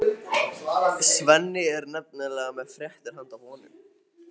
Svenni er nefnilega með fréttir handa honum.